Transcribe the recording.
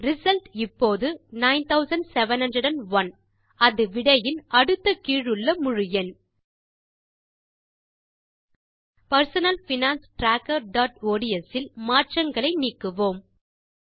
result இப்போது 9701அது விடையின் அடுத்த கீழுள்ள முழு எண் personal finance trackerஒட்ஸ் இல் மாற்றங்களை நீக்குவோம்